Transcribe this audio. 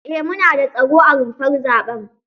Eh mu nada tsaro a rumfar zaɓen.